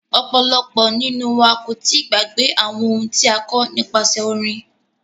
Ọ̀pọ̀lọpọ̀ nínú wa kò tíì gbàgbé àwọn ohun tí a kọ́ nípasẹ orin.